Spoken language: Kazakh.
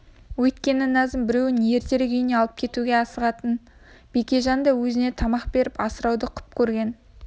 өйткені назым біреуін ертерек үйіне алып кетуге асығатын бекежан да өзінше тамақ беріп асырауды құп көрген